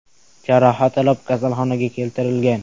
jarohat olib, kasalxonaga keltirilgan.